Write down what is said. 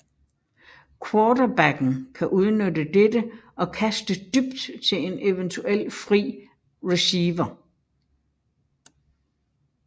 Quarterbacken kan udnytte dette og kaste dybt til en eventuelt fri receiver